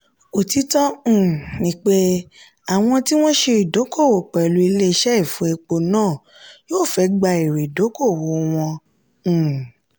òtítọ́ um ni pé àwọn tí wọn ṣe ìdókòwò pẹ̀lú ilé ìṣe ìfọ epo náà yóò fẹ́ gba èrè ìdókòwò wọn. um